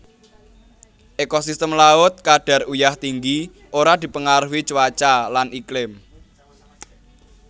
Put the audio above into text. Ekosistem laut kadar uyah tinggi ora dipengaruhi cuaca lan iklim